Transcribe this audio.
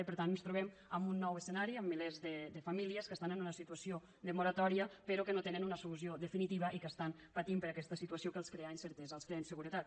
i per tant ens trobem amb un nou escenari amb milers de famílies que estan en una situació de moratòria però que no tenen una solució definitiva i que estan patint per aquesta situació que els crea incertesa els crea inseguretat